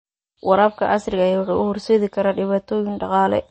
Waraabka casriga ah wuxuu u horseedi karaa dhibaatooyin dhaqaale.